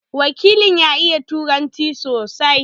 Wakilin ya iya Turanci sosai.